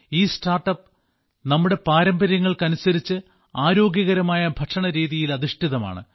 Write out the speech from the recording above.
ഈ സ്റ്റാർട്ടപ് നമ്മുടെ പാരമ്പര്യങ്ങൾക്കനുസരിച്ച ആരോഗ്യകരമായ ഭക്ഷണരീതിയിൽ അധിഷ്ഠിതമാണ്